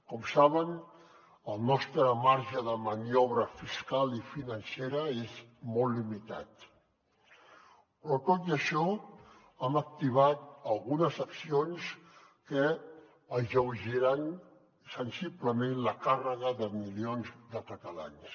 com saben el nostre marge de maniobra fiscal i financera és molt limitat però tot i això hem activat algunes accions que alleugeriran sensiblement la càrrega de milions de catalans